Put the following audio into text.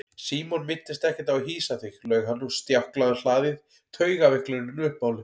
Símon minntist ekkert á að hýsa þig laug hann og stjáklaði um hlaðið, taugaveiklunin uppmáluð.